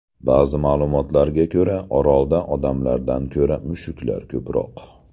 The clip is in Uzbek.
Ba’zi ma’lumotlarga ko‘ra, orolda odamlardan ko‘ra mushuklar ko‘proq.